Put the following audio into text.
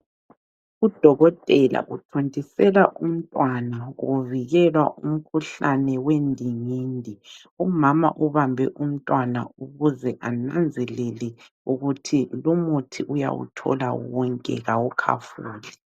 Udokotela uthontisela umntwana kuvikelwa umkhuhlane wendingindi. Umama ubambe umntwana ukuze ananzelele ukuthi lumuthi uyawuthola wonke kawukhafuli.